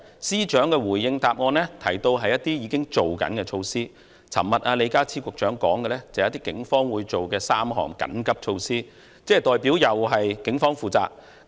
司長回應時提到的是一些已經推行的措施，李家超局長昨天說的是警方會推出的3項緊急措施，這代表又是警方負責。